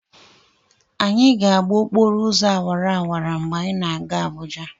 Anyị ga-agba okporo ụzọ awara awara mgbe anyị na-aga Abụja.